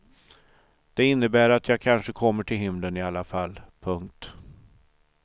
Det innebär att jag kanske kommer till himlen i alla fall. punkt